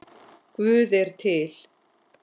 Guð er til.